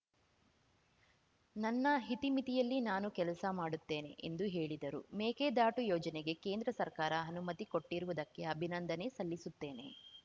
ನನ್ನ ಇತಿಮಿತಿಯಲ್ಲಿ ನಾನು ಕೆಲಸ ಮಾಡುತ್ತೇನೆ ಎಂದು ಹೇಳಿದರು ಮೇಕೆದಾಟು ಯೋಜನೆಗೆ ಕೇಂದ್ರ ಸರ್ಕಾರ ಅನುಮತಿ ಕೊಟ್ಟಿರುವುದಕ್ಕೆ ಅಭಿನಂದನೆ ಸಲ್ಲಿಸುತ್ತೇನೆ